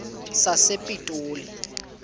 sasepitoli